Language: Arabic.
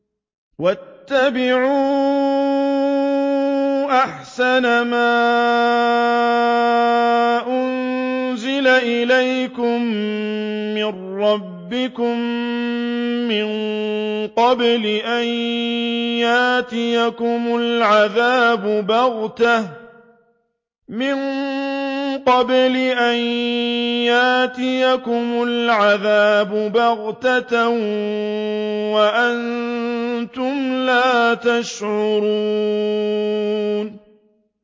وَاتَّبِعُوا أَحْسَنَ مَا أُنزِلَ إِلَيْكُم مِّن رَّبِّكُم مِّن قَبْلِ أَن يَأْتِيَكُمُ الْعَذَابُ بَغْتَةً وَأَنتُمْ لَا تَشْعُرُونَ